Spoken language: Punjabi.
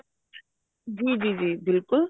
ਜੀ ਜੀ ਬਿਲਕੁੱਲ